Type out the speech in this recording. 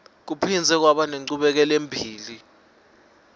kuphindze kwaba nenchubekelembili